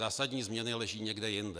Zásadní změny leží někde jinde.